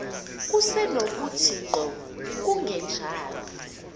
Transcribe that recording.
kusenokuthi ngqo kungenjalo